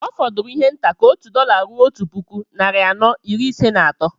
Ọ fọdụrụ ihe nta ka òtù dọla rụo Otu puku, narị anọ, iri Ise na atọ